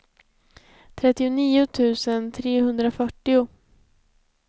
trettionio tusen trehundrafyrtio